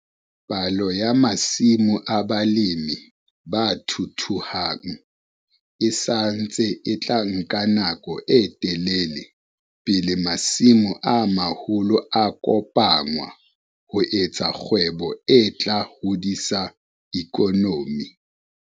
Palo ya masimo a balemi ba thuthuhang e sa ntse e tla nka nako e telele pele masimo a maholo a kopanngwa ho etsa kgwebo e tla hodisa ikonomi.